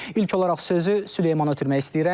İlk olaraq sözü Süleymana ötürmək istəyirəm.